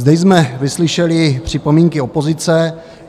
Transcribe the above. Zde jsme vyslyšeli připomínky opozice.